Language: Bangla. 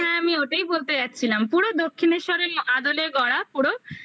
হ্যাঁ আমি ওটাই বলতে যাচ্ছিলাম পুরো দক্ষিনেশ্বরের আদলে গড়া পুরো